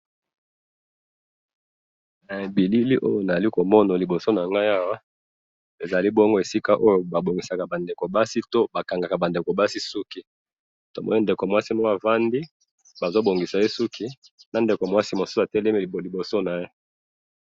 Eh! Bilili oyo nazali komona liboso nangayi awa, ezalibongo esika oyo babongisaka bandeko basi tu, bakangaka bandeko basi suki, tomoni ndeko mwasi moko avandi, bazobongisa ye suki, nandeko mwasi mosusu atelemi liboso naye